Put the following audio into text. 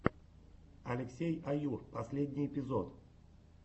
алексей аюр последний эпизод